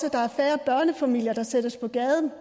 at der er færre børnefamilier der sættes på gaden